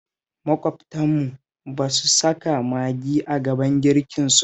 Maƙwabtanmu ba sa saka Maggi a gaban girkinsu